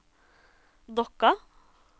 Dokka